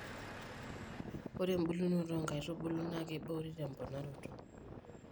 ore ebulunoto oo nkaitubulu naa keiboori te mponaroto